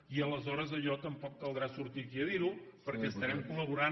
i aleshores allò tampoc caldrà sortir aquí a dirho perquè estarem col·laborant